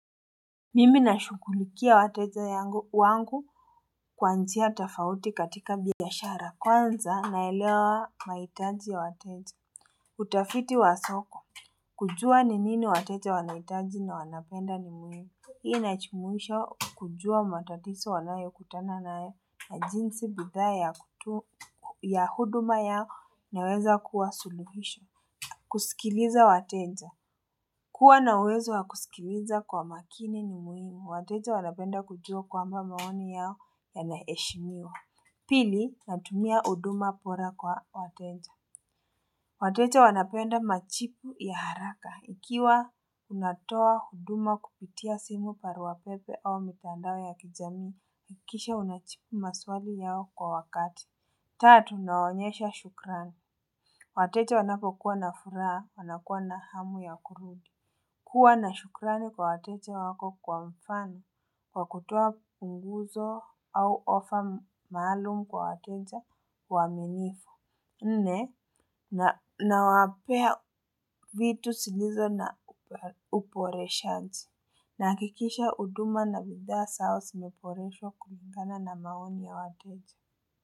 Mimi nashughulikia wateja wangu kwa njia tofauti katika biashara. Kwanza, naelewa mahitaji ya wateja, utafiti wa soko. Kujua ni nini wateja wanahitaji na wanapenda ni muhimu. Hii inajumuisha kujua matatizo wanayokutana nayo na jinsi bidhaa ya huduma yao inaweza kuwa suluhisho. Kusikiliza wateja. Kuwa na uwezo wa kusikiliza kwa makini ni muhimu, wateja wanapenda kujua kwamba maoni yao yanaheshimiwa. Pili, natumia huduma bora kwa wateja. Wateja wanapenda machipu ya haraka. Ikiwa unatoa huduma kupitia simu, barua pepe au mitandao ya kijamii, hakikisha unajibu maswali yao kwa wakati. Tatu, naonyesha shukran. Wateja wanapokuwa na furaha, wanakuwa na hamu ya kurudi. Kuwa na shukrani kwa wateja wako, kwa mfano, kwa kutoa punguzo au offer maalum kwa wateja waaminifu. Nne, nawapea vitu zilizo na uboreshaji nahakikisha huduma na bidhaa zao zimeboreshwa kulingana na maoni ya wateja.